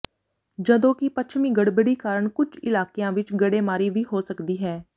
ਜਦੋਂ ਕਿ ਪੱਛਮੀ ਗੜਬੜੀ ਕਾਰਨ ਕੁਝ ਇਲਾਕਿਆਂ ਵਿੱਚ ਗੜੇਮਾਰੀ ਵੀ ਹੋ ਸਕਦੀ ਹੈ